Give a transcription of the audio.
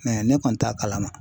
ne kɔni t'a kalama.